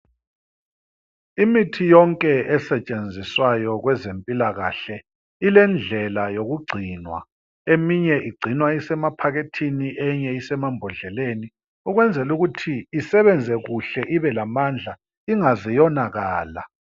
Imithi yonke esetshenziswayo kwezempilakahle ilendlela yokugcinwa. Eminye igcinwa isema phakethini enye isema mbodleleni ukwenzela ukuthi isebenze kuhle, ibe lamandla ingaze yonakala.